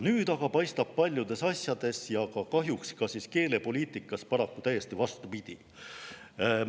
Nüüd aga paistab paljudes asjades ja kahjuks ka keelepoliitikas paraku täiesti vastupidi.